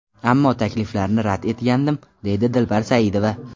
Ammo takliflarni rad etgandim, deydi Dilbar Saidova.